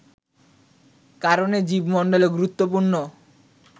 কারণে জীব মন্ডলে গুরুত্বপূর্ণ